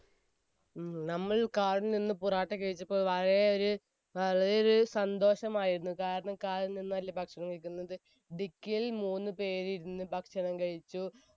നമ്മൾ car ൽ നിന്നും പൊറോട്ട കഴിച്ചപ്പോൾ വളരെ ഒരു, വളരെ ഒരു സന്തോഷമായിരുന്നു, കാരണം car ൽ ഇരുന്നു ഭക്ഷണം കഴിക്കുന്നവരും, dicky യിൽ മൂന്ന് പേർ ഇരുന്ന് ഭക്ഷണം കഴിച്ചു.